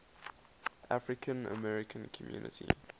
african american community